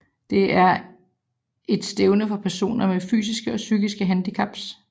Det er et stævne for personer med fysiske og psykiske handicap